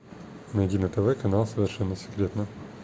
найди на тв канал совершенно секретно